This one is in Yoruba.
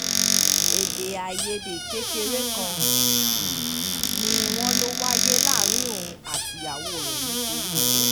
èdè-àìyedè kékeré kan ni wọ́n lọ wáyé láàrin òun àtìyàwó ẹ̀ nítorí owó